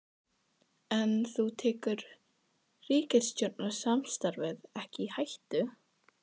Helga: En þú tekur ríkisstjórnarsamstarfið ekki í hættu?